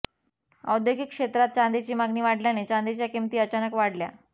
औद्योगिक क्षेत्रात चांदीची मागणी वाढल्याने चांदीच्या किंमती अचानक वाढल्या